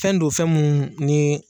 Fɛn do fɛn mun nii